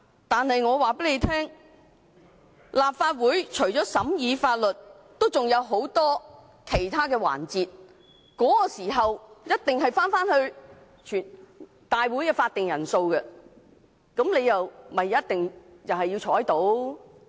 但我告訴他們，立法會會議除了審議法律外，還有很多其他的環節，屆時一定要符合立法會會議的法定人數，他們也同樣要在席。